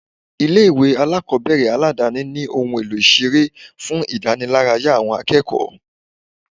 Ilé ìwé alákọ̀ọ́bẹ̀rẹ̀ aládáni ní ohun èlò ìseré fún ìdániláráyá àwọn akẹ́kọ̀ọ́.